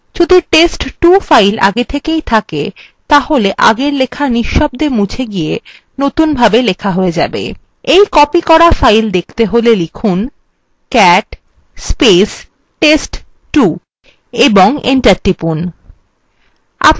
যদি test2 file আগে থেকেই থাকে তাহলে আগের লেখা নিঃশব্দে মুছে গিয়ে নতুনভাবে লেখা হয়ে যাবে এই copied করা file দেখতে হলে লিখুন